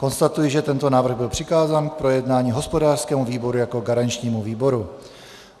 Konstatuji, že tento návrh byl přikázán k projednání hospodářskému výboru jako garančnímu výboru.